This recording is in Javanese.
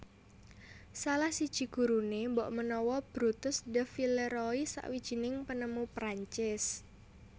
Salah siji guruné mbokmenawa Brutus de Villeroi sawijining panemu Prancis